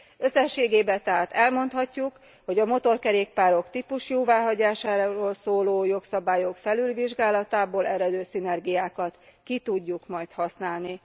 Összességében tehát elmondhatjuk, hogy a motorkerékpárok típusjóváhagyásáról szóló jogszabályok felülvizsgálatából eredő szinergiákat ki tudjuk majd használni.